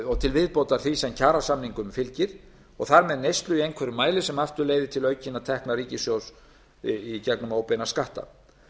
og til viðbótar því sem kjarasamningum fylgir og þar með neyslu í einhverjum mæli sem aftur leiðir til aukinna tekna ríkissjóðs í gegnum óbeina skatta